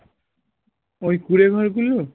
ওই কুঁড়ে ঘরগুলো?